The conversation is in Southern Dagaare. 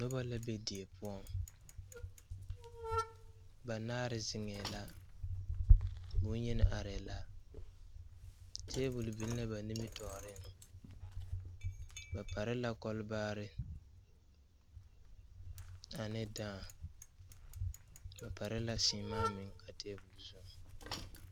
Dɔba la be die poɔŋ banaare zeŋɛɛ la bonyeni arɛɛ la tabol biŋ la ba nimitɔɔre ba pare la kɔlebaare ane daa ba pare la siimaa meŋ a tabol zu.